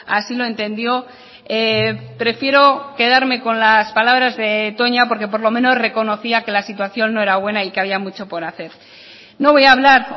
así lo entendió prefiero quedarme con las palabras de toña porque por lo menos reconocía que la situación no era buena y que había mucho por hacer no voy a hablar